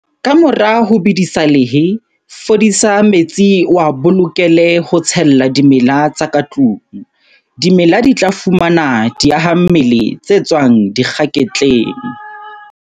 Kamora ho bedisa lehe, fodisa metsi o a bolokele ho tshella dimela tsa katlung. Dimela di tla fumana diahammele tse tswang dikgaketleng.